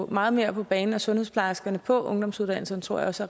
meget mere på banen og sundhedsplejerskerne ud på ungdomsuddannelserne tror jeg også